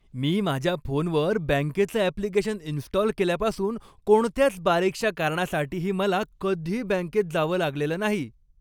मी माझ्या फोनवर बँकेचं ऍप्लिकेशन इन्स्टॉल केल्यापासून कोणत्याच बारीकशा कारणासाठीही मला कधी बँकेत जावं लागलेलं नाही.